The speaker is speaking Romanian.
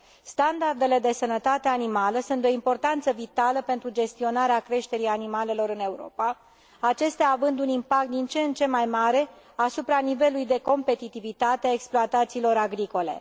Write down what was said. Standardele de sănătate animală sunt de o importanță vitală pentru gestionarea creșterii animalelor în Europa, acestea având un impact din ce în ce mai mare asupra nivelului de competitivitate a exploatațiilor agricole.